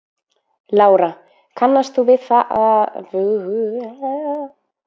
Lára: Kannast þú við að það sé pólitísk spilling við úthlutun á byggðakvóta?